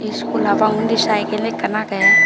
school hapang undi cycle ekkan agey.